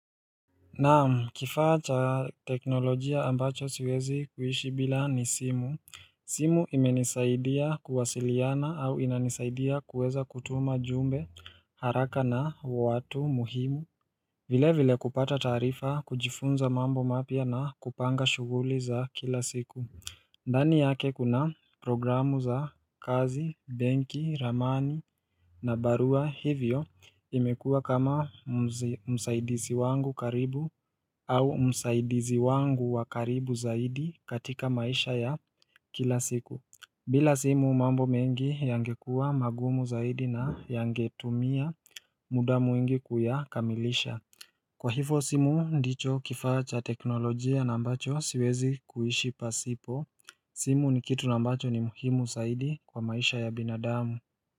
Naam, kifaa cha teknolojia ambacho siwezi kuishi bila ni simu simu imenisaidia kuwasiliana au inanisaidia kuweza kutuma jumbe haraka na watu muhimu vile vile kupata tarifa kujifunza mambo mapia na kupanga shuguli za kila siku ndani yake kuna programu za kazi, benki, ramani na barua hivyo imekuwa kama msaidizi wangu karibu au msaidizi wangu wakaribu zaidi katika maisha ya kila siku bila simu mambo mengi yangekuwa magumu zaidi na yangetumia muda mwingi kuyakamilisha. Kwa hivyo simu ndicho kifaa cha teknolojia na ambacho siwezi kuishi pasipo, simu ni kitu ambacho ni muhimu zaidi kwa maisha ya binadamu.